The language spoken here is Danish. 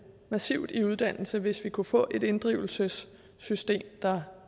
massivt i uddannelse hvis vi kunne få et inddrivelsessystem